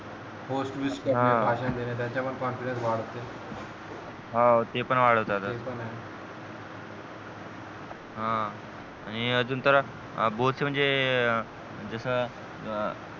हो speech देणे भाषण देणे त्याने पण confidence वाढते हवं ते पण वाढवतात आणि अजून तर both म्हणजे जसं अह